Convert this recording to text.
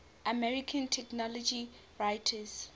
american technology writers